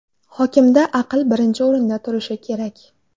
Hokimda aql birinchi o‘rinda turishi kerak.